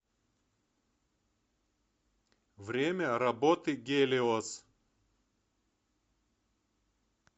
время работы гелиос